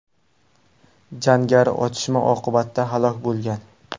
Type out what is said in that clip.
Jangari otishma oqibatida halok bo‘lgan.